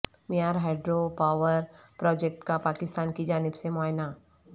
میار hydro power project کا پاکستان کی جانب سے معائنہ